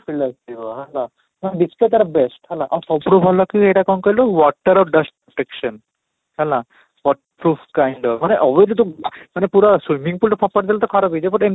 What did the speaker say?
feel ଆସୁଥିବ ହେଲା ତ display ତା'ର best ହେଲା, ଆଉ ସବୁଠୁ କି ଏଇଟା କ'ଣ କହିଲୁ water of dust protection ହେଲା, but proof kind ମାନେ overly ତ ମାନେ ପୁରା swimming pole ରେ ଫୋପାଡ଼ି ଦେଲେ ତ ଖରାପ ହେଇଯିବ but